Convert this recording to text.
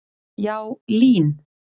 Já, LÍN.